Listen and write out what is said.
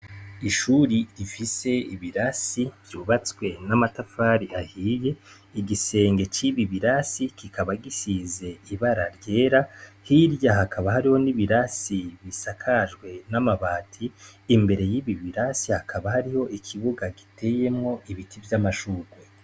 Ishure rifise ibirasi vyubatswe n‘ amatafari ahiye, igisenge cibi birasi kikaba gisize ibara ryera, hirya hakaba hariho ibirasi bisakajwe n‘ amabati, imbere yibi birasi hakaba hariho ikibuga gitewemwo ibiti vy‘ amashurwe.